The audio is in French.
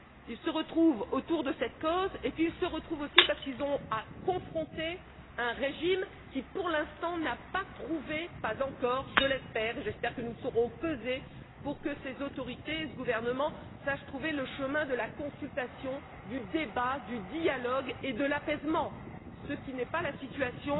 Elles se retrouvent autour de cette cause et elles se retrouvent aussi parce qu'elles ont à confronter un régime qui, pour l'instant, n'a pas trouvé pas encore, car j'espère que nous saurons peser sur ces autorités et ce gouvernement le chemin de la consultation, du débat, du dialogue et de l'apaisement, ce qui n'est pas la situation